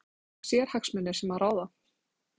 Þorbjörn Þórðarson: Það eru sérhagsmunir sem ráða?